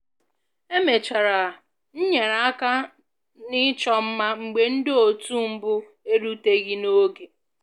Emechara m nyere aka na ịchọ mma mgbe ndị otu mbụ eruteghi n'oge